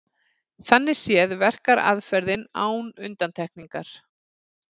Þannig séð verkar aðferðin án undantekningar.